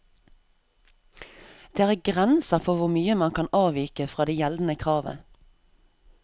Det er grenser for hvor mye man kan avvike fra det gjeldende kravet.